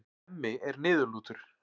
Hemmi er niðurlútur.